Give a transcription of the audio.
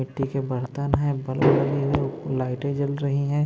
मिट्टी के बर्तन है लाइटें जल रही है।